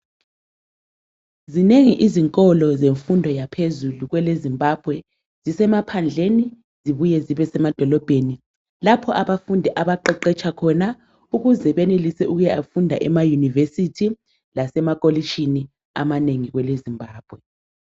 Zinengi izinkolo zemfundo yaphezulu kwele Zimbabwe, zisemaphandleni zibuye zibe semadolobheni lapha abafundi abaqeqetsha khona ukuze benelise ukuya funda emayunivesithi lasemakolitshini amanengi kwele Zimbabwe.